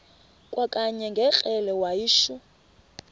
kwakanye ngekrele wayishu